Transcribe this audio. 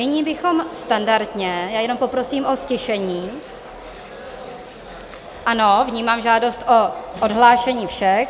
Nyní bychom standardně - já jenom poprosím o ztišení - ano, vnímám žádost o odhlášení všech.